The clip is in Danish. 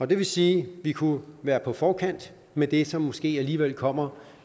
det vil sige vi kunne være på forkant med det som måske alligevel kommer